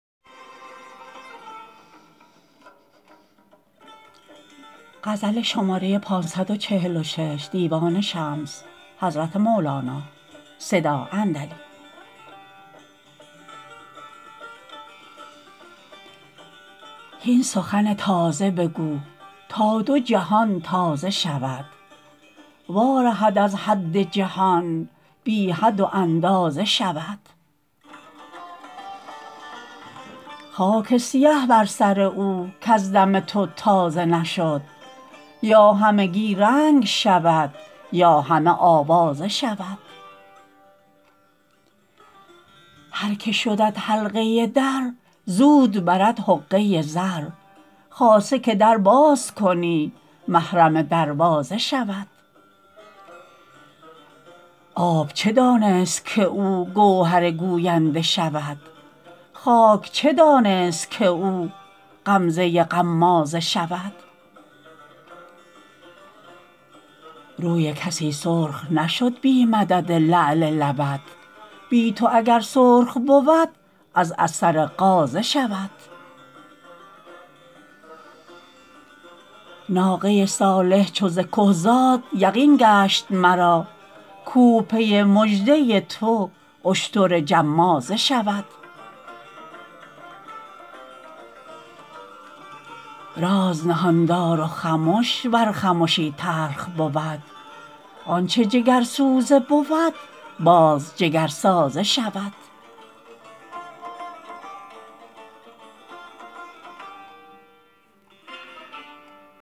هین سخن تازه بگو تا دو جهان تازه شود وارهد از حد جهان بی حد و اندازه شود خاک سیه بر سر او کز دم تو تازه نشد یا همگی رنگ شود یا همه آوازه شود هر که شدت حلقه در زود برد حقه زر خاصه که در باز کنی محرم دروازه شود آب چه دانست که او گوهر گوینده شود خاک چه دانست که او غمزه غمازه شود روی کسی سرخ نشد بی مدد لعل لبت بی تو اگر سرخ بود از اثر غازه شود ناقه صالح چو ز که زاد یقین گشت مرا کوه پی مژده تو اشتر جمازه شود راز نهان دار و خمش ور خمشی تلخ بود آنچ جگرسوزه بود باز جگرسازه شود